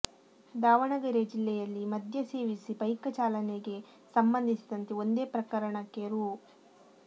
ದಾವಣಗೆರೆ ಜಿಲ್ಲೆಯಲ್ಲಿ ಮದ್ಯ ಸೇವಿಸಿ ಬೈಕ ಚಾಲನೆಗೆ ಸಂಬಂಧಿಸಿದಂತೆ ಒಂದೇ ಪ್ರಕರಣಕ್ಕೆ ರೂ